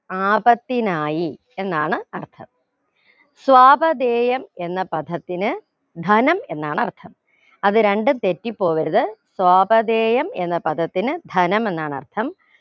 ആപത്തിനായി എന്നാണ് അർഥം സ്വപാഥേയം എന്ന പദത്തിന് ധനം എന്നാണ് അർഥം അത് രണ്ടും തെറ്റിപ്പോകരുത് സ്വാപഥേയം എന്ന പദത്തിന് ധനം എന്നാണ് അർഥം